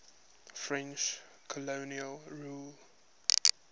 french colonial rule